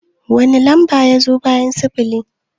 Wani lamba ya zo bayan sifili?